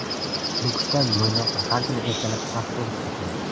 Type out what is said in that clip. Nukusdan Mo‘ynoqqa har kuni ertalab avtobus qatnaydi.